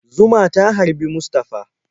Zuma ta harbi Mustafa.